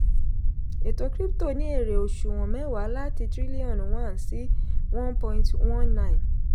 ètò krípútò ní èrè oṣùwọ̀n mẹ́wàá láti tírílíọ̀nù one sí one point one nine.